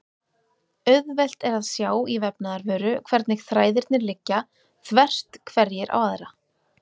Auðvelt er að sjá í vefnaðarvöru hvernig þræðirnir liggja þvert hverjir á aðra.